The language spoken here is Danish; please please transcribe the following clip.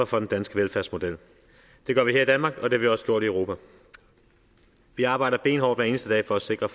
for den danske velfærdsmodel det gør vi her i danmark og det har vi også gjort i europa vi arbejder benhårdt hver eneste dag for at sikre